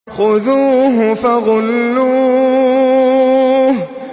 خُذُوهُ فَغُلُّوهُ